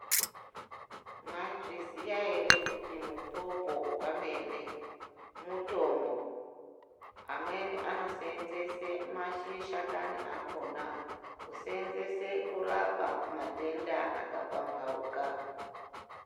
Mwaizviziya ere kuti mupopo wamene mutombo amweni anoseenzese mashakani akhona kuseenzese kurapa matenda akapambauka.